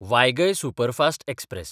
वायगय superfast express